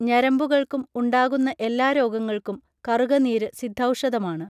ഞരമ്പുകൾക്കും ഉണ്ടാകുന്ന എല്ലാ രോഗങ്ങൾക്കും കറുകനീര് സിദ്ധൗഷധമാണ്